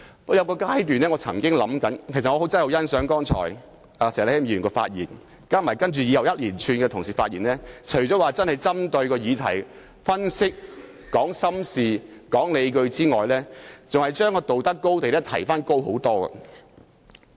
我真的很欣賞石禮謙議員剛才的發言，還有其後各同事的一連串發言，他們除了真正針對議題分析、說出心底話和提出理據外，還將道德高地大大提高。